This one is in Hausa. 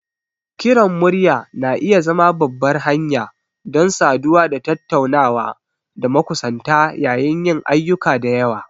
Kiran murya na iya zama babbar hanya don saduwa da tattunawa da makusanta yayin yin ayyuka da yawa.